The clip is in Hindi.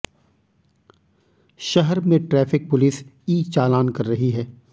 शहर में ट्रैफिक पुलिस ई चालान कर रही है